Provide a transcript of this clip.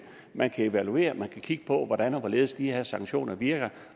man kan evaluere det og man kan kigge på hvordan og hvorledes de her sanktioner virker